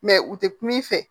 u tɛ kum'i fɛ